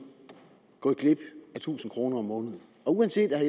gået glip af tusind kroner om måneden uanset at